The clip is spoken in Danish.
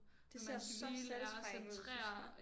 Det ser så satisfying ud synes jeg